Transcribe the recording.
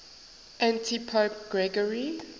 antipope gregory